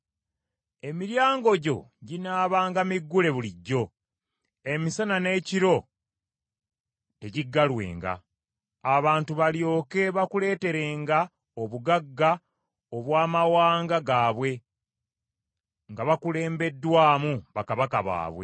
Emiryango gyo ginaabanga miggule bulijjo, emisana n’ekiro tegiggalwenga, abantu balyoke bakuleeterenga obugagga obw’amawanga gaabwe nga bakulembeddwamu bakabaka baabwe.